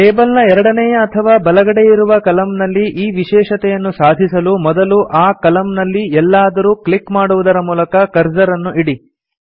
table ನ ಎರಡನೇಯ ಅಥವಾ ಬಲಗಡೆಯಿರುವ ಕಲಮ್ ನಲ್ಲಿ ಈ ವಿಶೇಷತೆಯನ್ನು ಸಾಧಿಸಲು ಮೊದಲು ಆ ಕಲಮ್ ನಲ್ಲಿ ಎಲ್ಲಾದರೂ ಕ್ಲಿಕ್ ಮಾಡುವುದರ ಮೂಲಕ ಕರ್ಸರ್ ಅನ್ನು ಇಡಿ